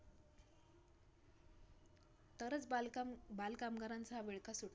burger pizza सारखा अजून काही प्रकार आहे का.